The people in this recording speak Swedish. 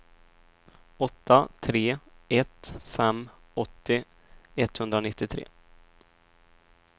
åtta tre ett fem åttio etthundranittiotre